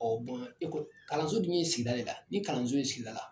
ekɔ kalanso dun n'u ye sigida de la, ni kalanso ye sigida la